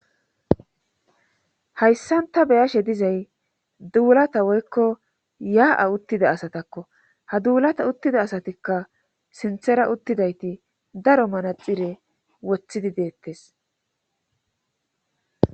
hayssan ta beyashe dizay duulata woykko yaa'a uttida asatakko. ha duulata uttida asatikka sinthera uttidayti daro manaxire woththidi deettes.